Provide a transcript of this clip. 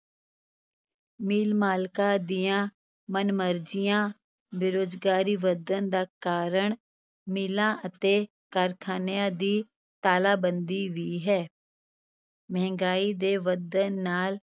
ਮਿੱਲ-ਮਾਲਕਾਂ ਦੀਆਂ ਮਨਮਰਜ਼ੀਆਂ, ਬੇਰੁਜ਼ਗਾਰੀ ਵਧਣ ਦਾ ਕਾਰਨ ਮਿੱਲਾਂ ਅਤੇ ਕਾਰਖ਼ਾਨਿਆਂ ਦੀ ਤਾਲਾਬੰਦੀ ਵੀ ਹੈ ਮਹਿੰਗਾਈ ਦੇ ਵਧਣ ਨਾਲ